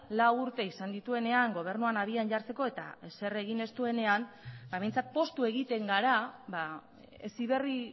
lau urte izan dituenean gobernuan abian jartzeko eta ezer egin ez duenean behintzat poztu egiten gara heziberri